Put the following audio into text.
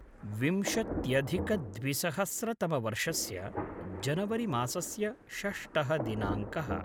विंशत्यधिकद्विसहस्रतमवर्षस्य जनवरिमासस्य षष्टः दिनाङ्कः